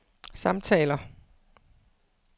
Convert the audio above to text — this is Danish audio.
samtaler